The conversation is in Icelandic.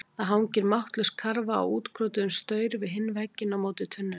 Það hangir máttlaus karfa á útkrotuðum staur við hinn vegginn á móti tunnunum.